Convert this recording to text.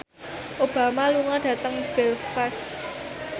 Obama lunga dhateng Belfast